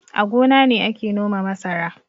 A gona ne ake noma masara